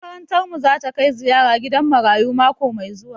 Makarantar mu zata kai ziyara gidan marayu mako mai zuwa